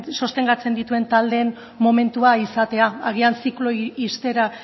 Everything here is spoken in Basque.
sostengatzen dituen taldeen momentua izatea agian zikloa ixtera